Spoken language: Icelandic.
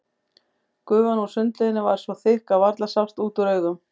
Gufan úr sundlauginni var svo þykk að varla sást út úr augum.